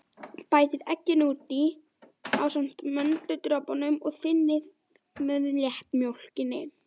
Bætið egginu út í ásamt möndludropunum og þynnið með léttmjólkinni.